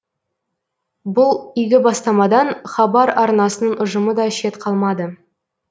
бұл игі бастамадан хабар арнасының ұжымы да шет қалмады